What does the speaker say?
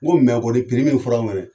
N Ko mɛ kɔni piri min fɔra an ɲɛnɛ